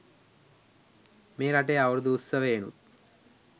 මේ රටේ අවුරුදු උත්සවයෙනුත්